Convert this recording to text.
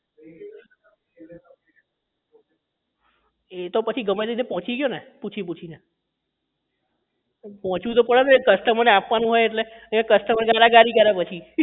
એ તો પછી ગમે ત્યાં થી પહોંચી ગયો ને પૂછી પૂછી ને પહોંચવું તો પડે ને અવે customer ને આપવાનું હોય એટલે નહીં તો customer મને ગારા ગારી પછી